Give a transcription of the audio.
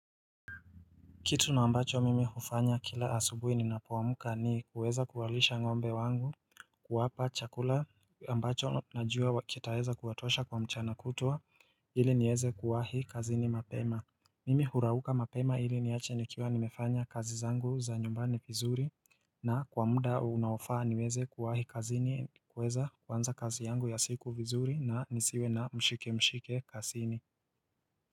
Kitu na ambacho mimi hufanya kila asubuhi ninapoamka ni kuweza kuwalisha ngombe wangu kuwapa chakula ambacho najua kitaeza kuwatosha kwa mchana kutwa ili nieze kuwahi kazini mapema Mimi hurauuka mapema ili niache nikiwa nimefanya kazi zangu za nyumbani vizuri na kwa mda unaofaa niweze kuwahi kazini kuweza kuanza kazi yangu ya siku vizuri na nisiwe na mshike mshike kasini.